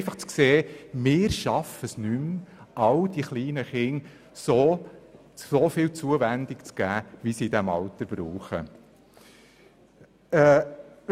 Sie mussten feststellen, dass sie es nicht mehr schaffen, all den kleinen Kindern so viel Zuwendung zu geben, wie sie in diesem Alter benötigen.